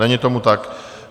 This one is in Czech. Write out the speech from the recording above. Není tomu tak.